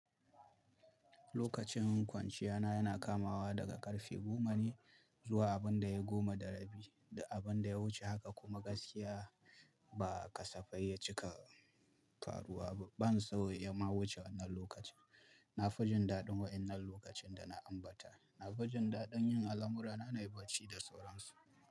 Lokacin kwanciya na yana kamawa daga ƙarfe goma ne zuwa abin da ya goma da rabi, duk abin da ya wuce haka kuma gaskiya ba kasafai ya cika faruwa ba. Ban so ya ma wuce wannan lokacin. Na fi jin daɗin waƴannan lokacin da na ambata. Na fi jin daɗin yin al'amurana nai banci da sauransu.